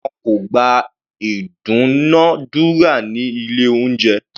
Wọn kò gba ìdúnadúrà ní ilé oúnjẹ.